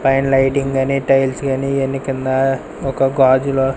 పైన లైటింగ్ గానీ టైల్స్ గానీ ఇవన్నీ కింద ఒక గాజుల.